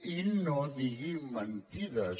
i no diguin mentides